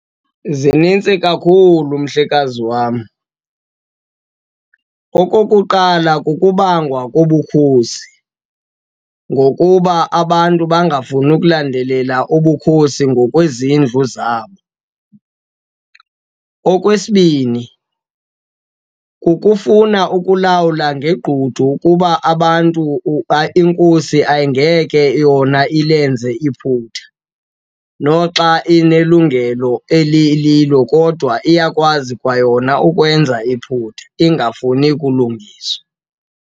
Zinintsi kakhulu mhlekazi wam. Okokuqala, kukubangwa kobukhosi ngokuba abantu bangafuni ukulandelela ubukhosi ngokwezindlu zabo. Okwesibini, kukufuna ukulawula ngegqudu ukuba abantu, inkosi ayingeke yona ilenze iphutha. Noxa inelungelo elililo kodwa iyakwazi kwayona ukwenza iphupha, ingafuni kulungiswa.